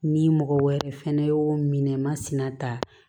Ni mɔgɔ wɛrɛ fɛnɛ y'o minɛ masina ta